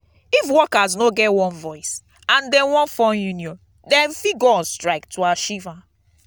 if workers no get one voice and them won form union them fit go on strike to achieve am